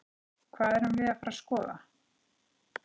Hvað erum við að fara að skoða?